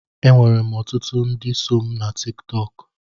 Enwerem ọtụtụ ndị so mụ na Tiktọk.